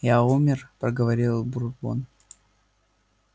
я умер проговорил бурбон